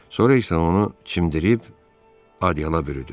Sonra isə onu çimdirib adyala bürüdü.